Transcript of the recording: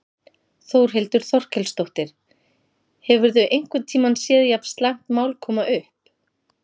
Þórhildur Þorkelsdóttir: Hefurðu einhvern tímann séð jafn slæmt mál koma upp?